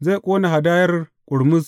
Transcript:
Zai ƙone hadayar ƙurmus.